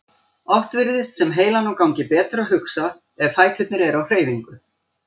Oft virðist sem heilanum gangi betur að hugsa ef fæturnir eru á hreyfingu.